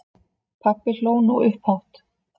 Pabbi hló nú upphátt.